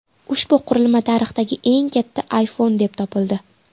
Ushbu qurilma tarixdagi eng katta iPhone deb topildi.